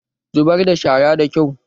Zubar da shara da kyau!